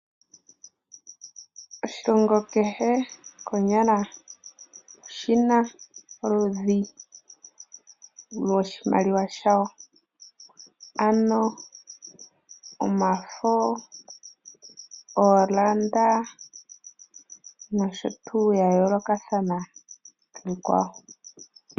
Oshilongo kehe konyala oshina oludhi moshimaliwa shawo ano omafo noondoola nosho tuu yayoolokathana kiikwawo.